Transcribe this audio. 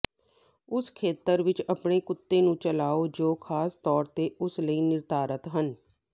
ਉਸ ਖੇਤਰ ਵਿੱਚ ਆਪਣੇ ਕੁੱਤੇ ਨੂੰ ਚਲਾਓ ਜੋ ਖਾਸ ਤੌਰ ਤੇ ਉਸ ਲਈ ਨਿਰਧਾਰਤ ਹਨ